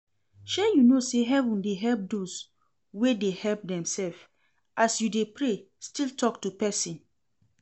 Shey you no say heaven dey help doz wey dey help demself, as you dey pray still talk to person